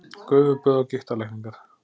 Gufuböð og gigtarlækningar